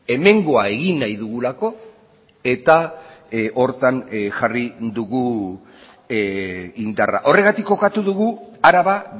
hemengoa egin nahi dugulako eta horretan jarri dugu indarra horregatik kokatu dugu araba